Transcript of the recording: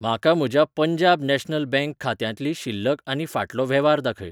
म्हाका म्हज्या Punjab national bank खात्यांतली शिल्लक आनी फाटलो वेव्हार दाखय.